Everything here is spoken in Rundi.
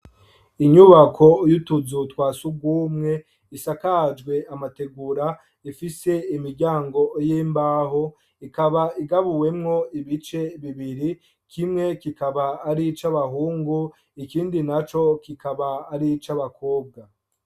Inyubako yutuzu twa sugumwe isakajwe amategura ifise imiryango y'imbaho ikaba igabuwemwo ibice bibiri kimwe kikaba arico abahungu ikindi naco kikaba arico abakobwa.